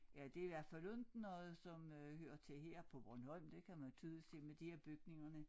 Ja det i hvert fald ikke noget som øh hører til her på Bornholm det kan man tydeligt se med de her bygningerne